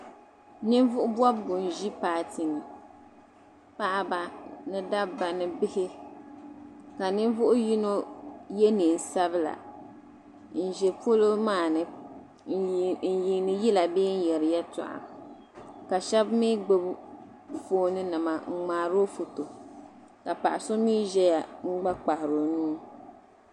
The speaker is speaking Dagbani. Ninvuɣ' bɔbigu n-ʒi paati ni. Paɣiba ni dabba ni bihi ka ninvuɣ' yino ye neen' sabila n-za polo maa ni n-yiini yila bee n-yɛri yɛltɔɣa ka shɛba mi gbibi foonnima n-ŋmaari o foto ka paɣa so mi zaya n-gba kpahiri o nuu.